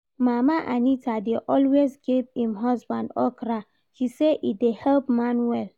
Mama Anita dey always give im husband okra, she say e dey help man well